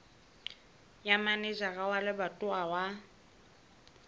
ya manejara wa lebatowa wa